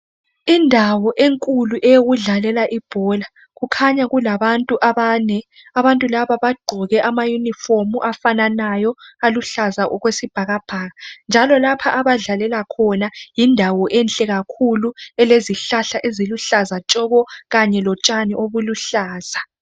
Indawo enkulu eyokudlalela ibhola. Kukhanya kulabantu abane, abantu laba bagqoke amayunifomu afananayo aluhlaza okwesibhakabhaka njalo lapha abadlalela khona yindawo enhle kakhulu elezihlahla eziluhlaza tshoko kanye lotshani obuluhlaza.